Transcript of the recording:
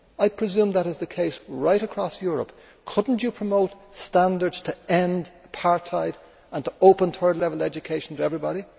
I presume that is the case right across Europe. Could you not promote standards to end apartheid and open up third level education to everybody?